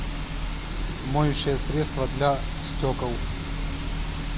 моющее средство для стекол